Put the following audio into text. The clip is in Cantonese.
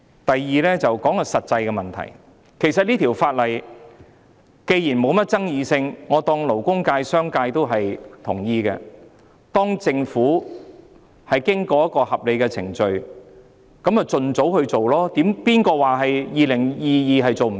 我亦要談談實際的問題，這項《條例草案》既然沒甚麼爭議，我假設勞工界、商界均已贊同，當政府經過一個合理的程序後，便應盡早推出，誰說在2022年做不到？